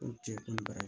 Ko cɛ ko bara